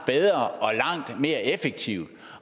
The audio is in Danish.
mere effektivt